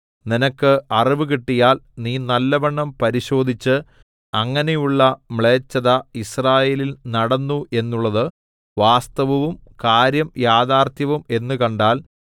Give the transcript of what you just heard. നിനക്ക് അറിവു കിട്ടിയാൽ നീ നല്ലവണ്ണം പരിശോധിച്ച് അങ്ങനെയുള്ള മ്ലേച്ഛത യിസ്രായേലിൽ നടന്നു എന്നുള്ളത് വാസ്തവവും കാര്യം യഥാർത്ഥവും എന്നു കണ്ടാൽ